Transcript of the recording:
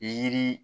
Yiri